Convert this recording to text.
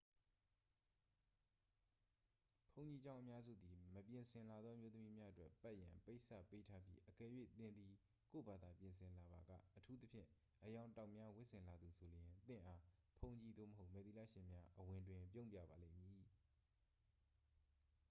ဘုန်းကြီးကျောင်းအများစုသည် မပြင်ဆင်လာသော အမျိုးသမီးများအတွက် ပတ်ရန် ပိတ်စ ပေးထားပြီး အကယ်၍ သင်သည် ကိုယ့်ဘာသာပြင်ဆင်လာပါက အထူးသဖြင့် အရောင်တောက်များဝတ်ဆင်လာသူဆိုလျှင် သင့်အား ဘုန်းကြီးသို့မဟုတ် မယ်သီလရှင်များ အဝင်တွင် ပြုံးပြပါလိမ့်မည်